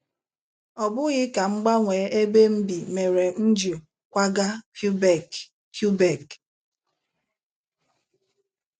Ọ bụghị ka m gbanwee ebe m bi mere m ji kwaga Quebec Quebec.